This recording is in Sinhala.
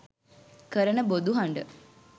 කරන බොදු හඬ